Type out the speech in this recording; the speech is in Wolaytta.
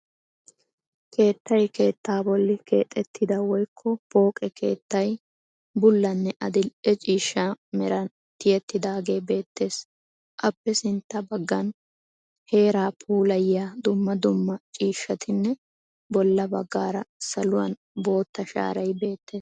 Keettay keettaa bolli keexxettida woykko pooqqe keettay, bullanne adill"e ciishan meranin tiyettidagee beettees. appe sintta baggan heeruu puulayiyaa dumma dumma ciishshatinne bolla baggara saluwan boottaa shaaray beettees.